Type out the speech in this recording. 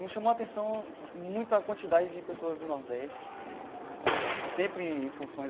Me chamou a atenção muito a quantidade de pessoas do Nordeste né, sempre em funções